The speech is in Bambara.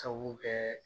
Sabu kɛ